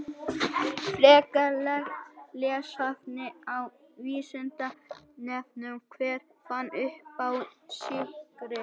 Frekara lesefni á Vísindavefnum: Hver fann uppá sykri?